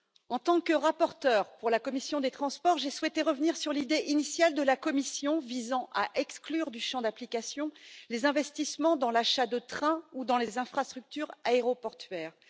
En tant que rapporteure pour la commission des transports et du tourisme, j'ai souhaité revenir sur l'idée initiale de la Commission visant à exclure du champ d'application les investissements dans l'achat de trains ou dans les infrastructures aéroportuaires.